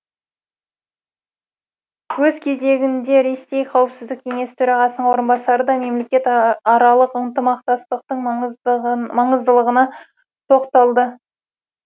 өз кезегінде ресей қауіпсіздік кеңесі төрағасының орынбасары да мемлекетаралық ынтымақтастықтың маңыздылығына тоқталды